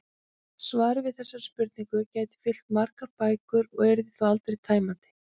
Svarið við þessari spurningu gæti fyllt margar bækur og yrði þó aldrei tæmandi.